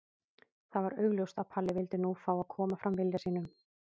Það var augljóst að Palli vildi nú fá að koma fram vilja sínum.